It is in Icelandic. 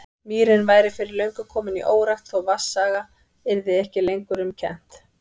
Mýrin væri fyrir löngu komin í órækt, þó vatnsaga yrði ekki lengur um kennt.